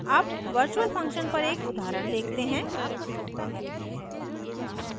अब virtual functions पर एक उदाहरण देखते हैं